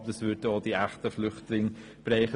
Aber dies würde auch echte Flüchtlinge treffen.